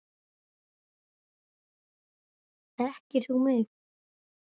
Þekkir þú mig?